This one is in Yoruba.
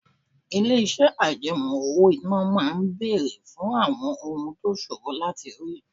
Ilé-iṣẹ́ àjẹmọ́ owó-ìná máa ń béèrè fún àwọn ohun tó ṣòro láti rí